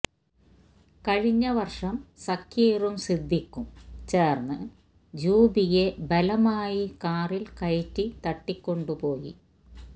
കഴിഞ്ഞ വര്ഷം സക്കീറും സിദ്ദീഖും ചേര്ന്ന് ജൂബിയെ ബലമായി കാറില് കയറ്റി തട്ടിക്കൊണ്ടു പോയി